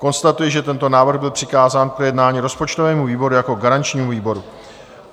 Konstatuji, že tento návrh byl přikázán k projednání rozpočtovému výboru jako garančnímu výboru.